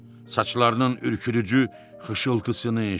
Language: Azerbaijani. Saçlarının ürküdücü xışıltısını eşitdi.